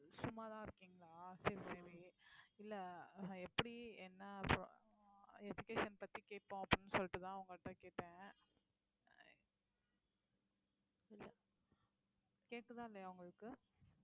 சும்மாதான் இருக்கீங்களா சரி சரி இல்ல எப்படி என்ன எப்~ அஹ் education பத்தி கேட்போம் அப்படீன்னு சொல்லிட்டு தான் உங்க கிட்ட கேட்டேன் கேக்குதா இல்லையா உங்களுக்கு